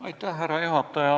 Härra juhataja!